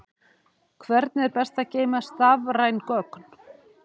Hvernig er best að geyma stafræn gögn?